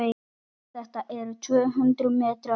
Þetta eru tvö hundruð metrar.